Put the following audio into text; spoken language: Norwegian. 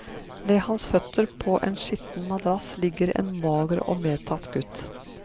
Ved hans føtter, på en skitten madrass, ligger en mager og medtatt gutt.